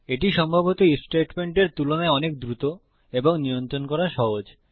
এটা সম্ভবত আইএফ স্টেটমেন্টের তুলনায় অনেক দ্রুত এবং নিয়ন্ত্রণ করা সহজ